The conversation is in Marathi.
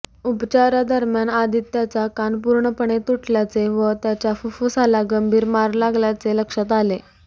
उपचारादरम्यान आदित्याचा कान पूर्णपणे तुटल्याचे व त्याच्या फुफ्फुसाला गंभीर मार लागल्याचे लक्षात आले